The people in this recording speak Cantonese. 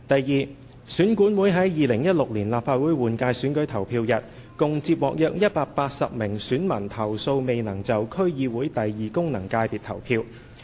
二選管會於2016年立法會換屆選舉投票日，共接獲約180名選民投訴未能就區議會功能界別投票。